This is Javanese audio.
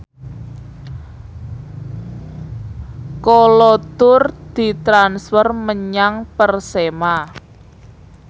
Kolo Toure ditransfer menyang Persema